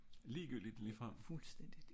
ligegyldigt ligefrem?